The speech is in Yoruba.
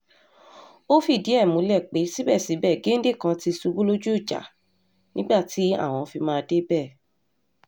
ó fìdí ẹ̀ múlẹ̀ pé síbẹ̀síbẹ̀ géńdé kan ti ṣubú lójú ìjà nígbà tí àwọn fi máa débẹ̀